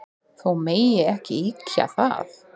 Þó megi ekki ýkja það.